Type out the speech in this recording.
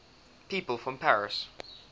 people from paris